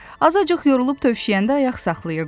Azacıq yorulub tövşəyəndə ayaq saxlayırdılar.